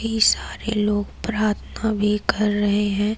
ये सारे लोग प्रार्थना भी कर रहे हैं।